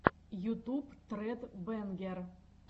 ютуб тред бэнгер